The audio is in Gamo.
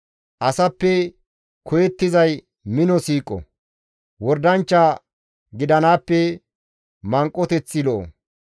Asappe koyettizay mino siiqo; wordanchcha gidanaappe manqoteththi lo7o.